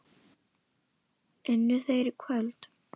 Unnu þeir í kvöld?